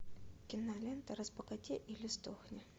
кинолента разбогатей или сдохни